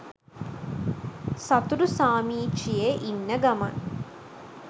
සතුටු සාමීචියේ ඉන්න ගමන්